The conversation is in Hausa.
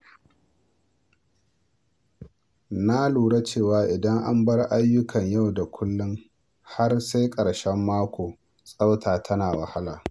Na lura cewa idan an bar ayyukan yau da kullum har sai ƙarshen mako, tsafta tana wahala.